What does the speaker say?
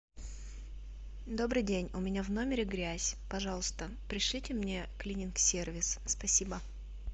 добрый день у меня в номере грязь пожалуйста пришлите мне клининг сервис спасибо